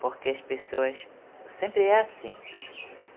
Porque as pessoas... sempre é assim.